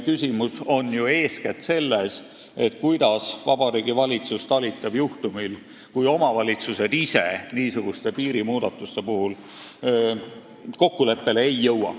Küsimus on ju eeskätt selles, kuidas Vabariigi Valitsus talitab juhtumil, kui omavalitsused ise piirimuudatuste soovi korral kokkuleppele ei jõua.